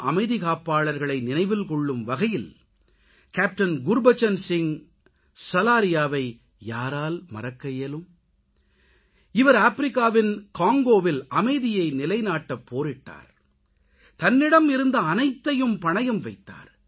அமைதிகாப்பாளர்களை நினைவில் கொள்ளும் வேளையில் கேப்டன் குர்பச்சன் சிங் சலாரியாவை யாரால் மறக்க இயலும் இவர் ஆப்பிரிக்காவின் காங்கோவில் அமைதியை நிலைநாட்டப்போரிட்டார் தன்னிடம் இருந்த அனைத்தையும் பணயம் வைத்தார்